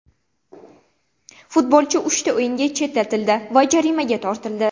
Futbolchi uchta o‘yinga chetlatildi va jarimaga tortildi.